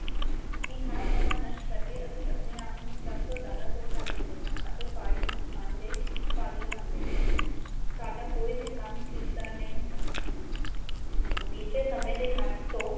ਕੀ ਹਰ ਸਮਾਂ ਨਸ਼ਟ ਕਰ ਕੇ ਅਸੀਂ ਆਪਣੇ ਆਪ ਨੂੰ ਸਭ ਤੋ ਜਿਆਦਾ ਧੋਖਾ ਦਿੰਦੇ ਹਾਂ ਤੇ ਸਾਰੇ ਨੁਕਸਾਨ ਦੇ ਭਾਗੀ ਬਣਦੇ ਹਾਂ ਸਾਡਾ ਕੋਈ ਵੀ ਕੰਮ ਠੀਕ ਨਹੀ ਹੁੰਦਾ ਬੀਤੇ ਸਮੇ ਦੇ ਹਥ ਤੋਂ